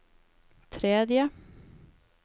tredje